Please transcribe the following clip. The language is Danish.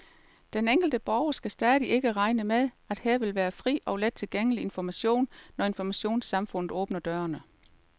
Den enkelte borger skal stadig ikke regne med, at her vil være fri og let tilgængelig information, når informationssamfundet åbner dørene.